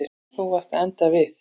Þú varst að enda við.